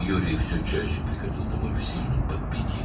Yuri getdikcə daha çox sərxoş vəziyyətdə evə gəlirdi.